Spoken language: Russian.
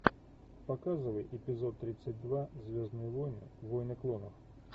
показывай эпизод тридцать два звездные войны войны клонов